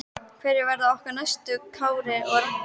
Hverjir verða okkar næstu Kári og Raggi?